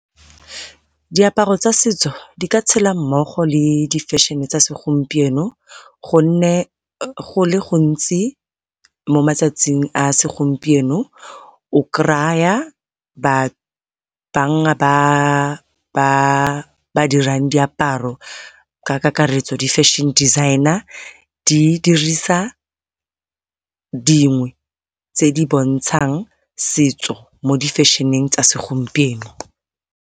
Diaparo tsa setso di ka tshela mmogo le di feshene tsa segompieno, gonne go le gontsi mo matsatsing a segompieno o ba dirang diaparo ka kakaretso di-fashion designer di dirisa dingwe tse di bontshang setso mo difesheneng tsa segompieno.